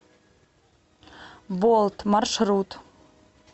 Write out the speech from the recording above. болт маршрут